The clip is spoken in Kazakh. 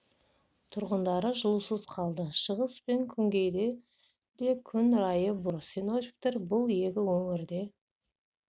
тұрғындары жылусыз қалды шығыс пен күнгейде де күн райы бұзылып тұр синоптиктер бұл екі өңірде